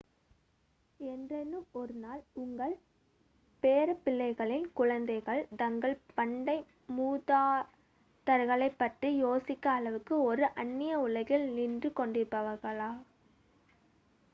என்றேனும் ஒரு நாள் உங்கள் பேரப்பிள்ளைகளின் குழந்தைகள் தங்கள் பண்டைய மூதாதையர்களைப் பற்றி யோசிக்கும் அளவுக்கு ஒரு அன்னிய உலகில் நின்று கொண்டிருப்பார்களா